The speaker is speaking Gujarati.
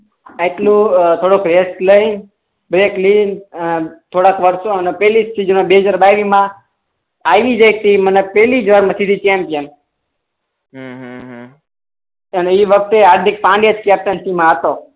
આઈપીઓ પેલો એસટીઆઈ એ વખતે હાર્દિક પંડ્યા જ કેપ્ટનસી મા હતો